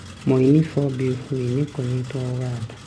Mũĩni Bobi Wine kũnyitwa Uganda